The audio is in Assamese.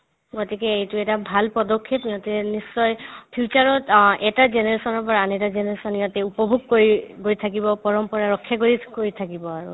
গতিকে এইটো এটা ভাল পদক্ষেপ ইহঁতে নিশ্চয় future ত অ এটা generation ৰ পৰা আন এটা generation ইয়াতে উপভোগ কৰি গৈ থাকিব পৰম্পৰা ৰক্ষা কৰি গৈ থাকিব আৰু